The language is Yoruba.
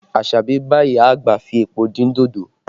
Asabi bá ìyá àgbà fi epo dín dodo